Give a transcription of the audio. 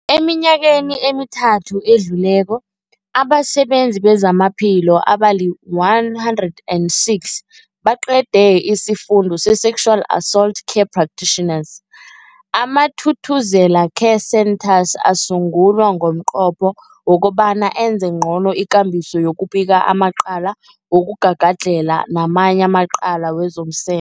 Eminyakeni emithathu edluleko, abasebenzi bezamaphilo abali-106 baqede isiFundo se-Sexual Assault Care Practitioners. AmaThuthuzela Care Centres asungulwa ngomnqopho wokobana enze ngcono ikambiso yokubika amacala wokugagadlhela namanye amacala wezomse